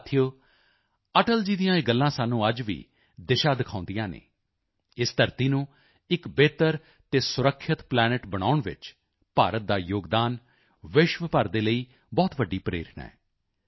ਸਾਥੀਓ ਅਟਲ ਜੀ ਦੀਆਂ ਇਹ ਗੱਲਾਂ ਸਾਨੂੰ ਅੱਜ ਵੀ ਦਿਸ਼ਾ ਦਿਖਾਉਂਦੀਆਂ ਹਨ ਇਸ ਧਰਤੀ ਨੂੰ ਇੱਕ ਬਿਹਤਰ ਤੇ ਸੁਰੱਖਿਅਤ ਪਲੈਨੇਟ ਬਣਾਉਣ ਵਿੱਚ ਭਾਰਤ ਦਾ ਯੋਗਦਾਨ ਵਿਸ਼ਵ ਭਰ ਦੇ ਲਈ ਬਹੁਤ ਵੱਡੀ ਪ੍ਰੇਰਣਾ ਹੈ